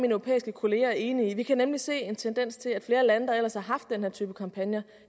europæiske kolleger er enige i vi kan nemlig se en tendens til at flere lande der ellers har haft den her type kampagner